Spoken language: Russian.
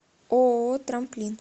ооо трамплин